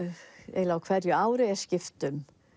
eiginlega á hverju ári er skipt